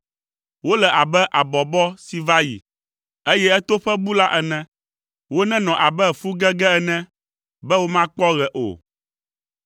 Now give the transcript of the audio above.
Wole abe abɔbɔ si va yi, eye etoƒe bu la ene. Wonenɔ abe fu gege ene, be womakpɔ ɣe o.